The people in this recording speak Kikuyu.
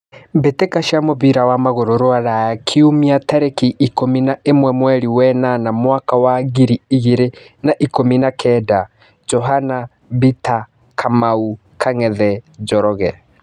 Mbĩ tĩ ka cia mũbira wa magũrũ Ruraya Kiumia tarĩ ki ikũmi na ĩ mwe mweri wenana mwaka wa ngiri igĩ rĩ na ikũmi na kenda: Johana, Bita, Kamau, Kang'ethe, Njoroge.